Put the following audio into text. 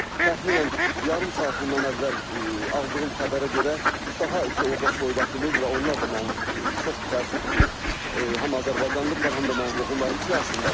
Və təxminən yarım saat bundan əvvəl aldığım xəbərə görə, daha iki orda soydaşımız və onlar da mənim çox təəssüf ki, həm azərbaycanlıdırlar, həm də mənim qohumlarım siyahısındadır.